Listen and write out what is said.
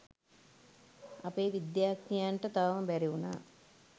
අපේ විද්‍යාඥයන්ට තවම බැරි වුනා